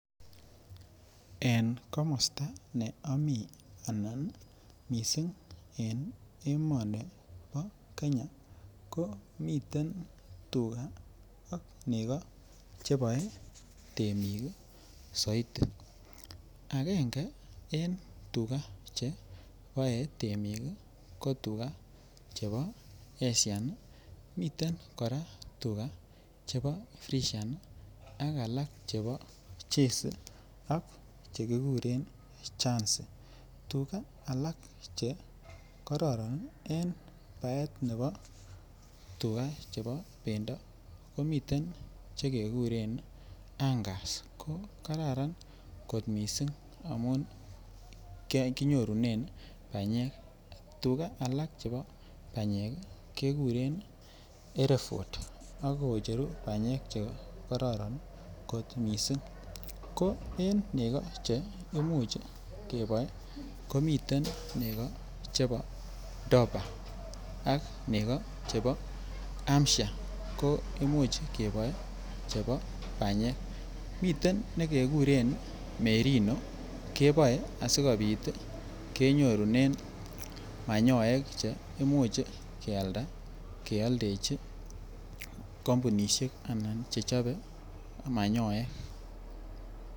En komosta ne ami anan mising en emoni bo Kenya ko miten tuga ak nego cheboe temik soiti agenge en tuga cheboe temik ko tuga chebo Asian miten kora tuga chebo fresian ak alak chebo Jersey ak alak Che kiguren guarnsey tuga alak Che kororon en baetab nebo bendo ko miten Che keguren Angus ko Kararan kot mising amun kinyorunen banyek tuga alak chebo banyek keguren here Ford ak kocheru banyek Che kororon kot mising ko en nego Che Imuch keboe komiten nego chebo dorper ak nego chebo hampshire ko Imuch keboe Chebo banyek miten nekekuren merino keboe asikobit kenyorunen manyoek Che Imuch kealda kealdechi kampunishek Che chobe manyoek